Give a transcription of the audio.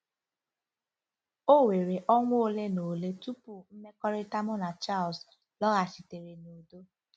O were ọnwa ole na ole tupu mmekọrịta mụ na Charles lọghachitere n'udo. ”